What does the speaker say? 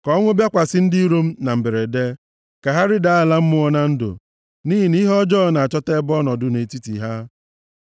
Ka ọnwụ bịakwasị ndị iro m na mberede; ka ha rịdaa ala mmụọ na ndụ, nʼihi na ihe ọjọọ na-achọta ebe ọnọdụ nʼetiti ha.